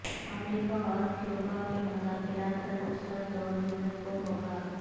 امریکہ اور کیوبا کے مذاکرات کا دوسرا دور جمعہ کو ہو گا